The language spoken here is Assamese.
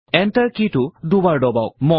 এন্টাৰ কি টো দুবাৰ দবাওক